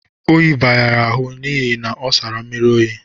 Oyi bara ya ahụ n'ihi ọ sara mmiri oyi.